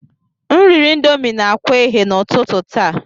M riri Indomi na akwa eghe n'ụtụtụ taa.